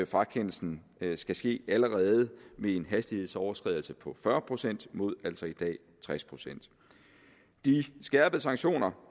frakendelsen skal ske allerede ved en hastighedsoverskridelse på fyrre procent mod altså i dag tres procent de skærpede sanktioner